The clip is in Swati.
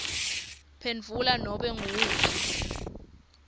phendvula nobe nguwuphi